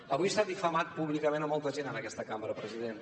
avui s’ha difamat públicament molta gent en aquesta cambra president